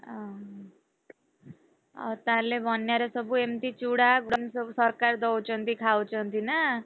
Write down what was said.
ଅହ ଆଉ ତାହେଲେ ବନ୍ୟାରେ ସବୁ ଏମତି ଚୂଡା ସବୁ ସରକାର ଦଉଛନ୍ତି ଖାଉଛନ୍ତି ନା?